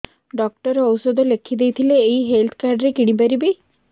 doctor ଔଷଧ ଲେଖିଦେଇଥିଲେ ଏଇ ହେଲ୍ଥ କାର୍ଡ ରେ କିଣିପାରିବି